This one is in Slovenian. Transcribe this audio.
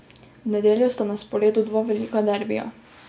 V nedeljo sta na sporedu dva velika derbija.